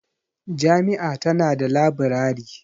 Jami'a tana da labirari.